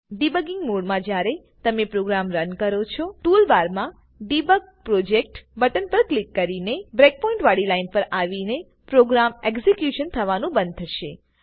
debugging mode માં જયારે તમે પ્રોગ્રામ રન કરો છો ટૂલ બારમાં ડેબગ પ્રોજેક્ટ બટન પર ક્લિક કરીને બ્રેકપોઇન્ટ વાડી લાઈન પર આવીને પ્રોગ્રામ એક્ઝેક્યુશન થવા નું બંદ થશે